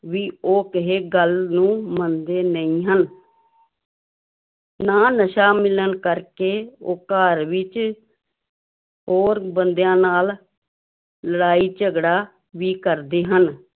ਵੀ ਉਹ ਕਿਸੇ ਗੱਲ ਨੂੰ ਮੰਨਦੇ ਨਹੀਂ ਹਨ ਨਾ ਨਸ਼ਾ ਮਿਲਣ ਕਰਕੇ ਉਹ ਘਰ ਵਿੱਚ ਹੋਰ ਬੰਦਿਆਂ ਨਾਲ ਲੜਾਈ ਝਗੜਾ ਵੀ ਕਰਦੇੇ ਹਨ।